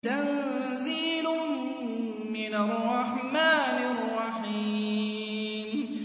تَنزِيلٌ مِّنَ الرَّحْمَٰنِ الرَّحِيمِ